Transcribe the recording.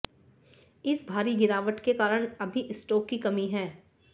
इस भारी गिरावट के कारण अभी स्टॉक की कमी है